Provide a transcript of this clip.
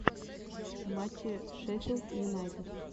матчи шеффилд юнайтед